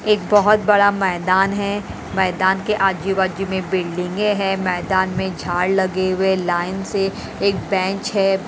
एक बहुत बड़ा मैदान है मैदान के आजूबाजी में बिल्डिंगें है मैदान में झाड़ लगे हुए लाइन से एक बेंच है।